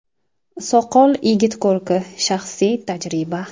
Soqol yigit ko‘rki shaxsiy tajriba.